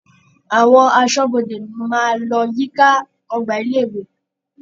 Àwọn aṣọ́bodè máa lọ yíká ọgbà ilé-ìwé.